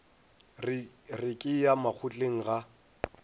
re ke ya makgotleng ga